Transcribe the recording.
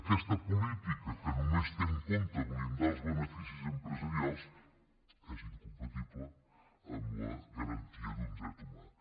aquesta política que només té en compte blindar els beneficis empresarials és incompatible amb la garantia d’un dret humà